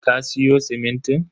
Ka siyo simintin?